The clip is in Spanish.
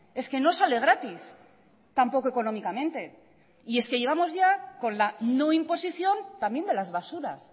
es que no sale gratis tampoco económicamente y es que llevamos ya con la no imposición también de las basuras